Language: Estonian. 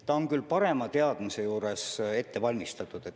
See on küll parema teadmise juures ette valmistatud.